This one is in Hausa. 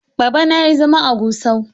Babana ya yi zama a Gusau.